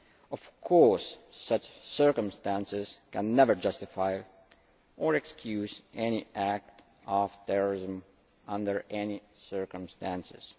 Of course such circumstances can never justify or excuse any act of terrorism under any circumstances.